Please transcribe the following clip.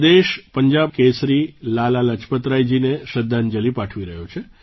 આજે દેશ પંજાબ કેસરી લાલા લાજપતરાયજીનેશ્રદ્ધાંજલીપાઠવી રહ્યો છે